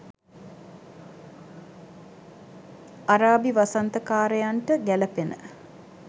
අරාබි වසන්ත කාරයන්ට ගැලපෙන